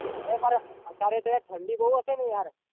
અત્યારે તો ઠંડી બૌ હશે ને યાર